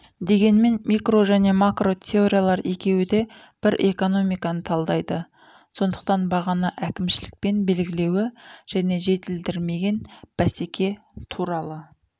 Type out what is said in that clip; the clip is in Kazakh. дегенмен микро және макро теориялар екеуі де бір экономиканы талдайды сондықтан бағаны әкімшілікпен белгілеуі және жетілдірмеген бәсеке туралы